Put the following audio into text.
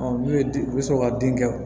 n'u ye den u bɛ sɔrɔ ka den kɛ